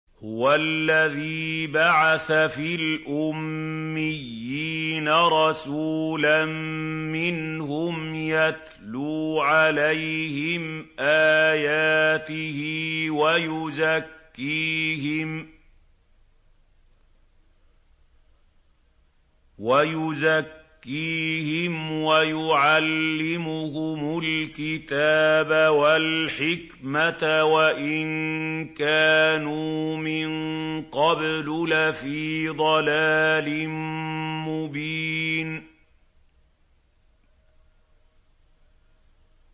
هُوَ الَّذِي بَعَثَ فِي الْأُمِّيِّينَ رَسُولًا مِّنْهُمْ يَتْلُو عَلَيْهِمْ آيَاتِهِ وَيُزَكِّيهِمْ وَيُعَلِّمُهُمُ الْكِتَابَ وَالْحِكْمَةَ وَإِن كَانُوا مِن قَبْلُ لَفِي ضَلَالٍ مُّبِينٍ